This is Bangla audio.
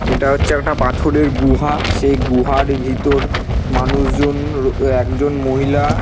এটা হচ্ছে একটা পাথরের গুহা সেই গুহার ভিতর মানুষজন ও একজন মহিলা--